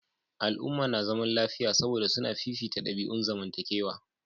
Al'umma na zaman lafiya saboda suna fifita dabi'un zamantakewa.